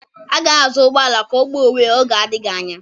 A ga-ahazi ụgbọ ala ka ọ gbaa onwe ya n'oge adịghị anya